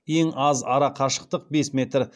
ең аз ара қашықтық бес метр